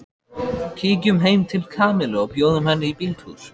Kíkjum heim til Kamillu og bjóðum henni í bíltúr